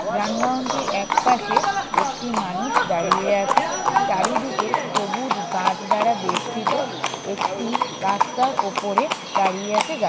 যানবাহনটির একপাশে একটি মানুষ দাঁড়িয়ে আছে চারিদিকে সবুজ গাছ দ্বারা বেষ্টিত একটি রাস্তার ওপরে দাঁড়িয়ে আছে গা--